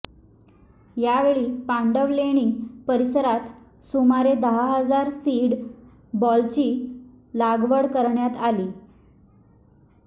यावेळी पांडवलेणी परिसरात सुमारे दहा हजार सीड बॉलची लागवड करण्यात आली